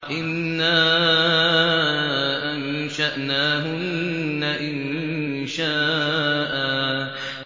إِنَّا أَنشَأْنَاهُنَّ إِنشَاءً